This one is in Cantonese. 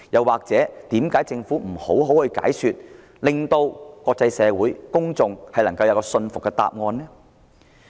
為何政府不詳細解說，向國際社會及公眾提供令人信服的答案？